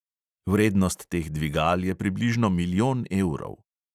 Vrednost teh dvigal je približno milijon evrov.